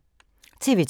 TV 2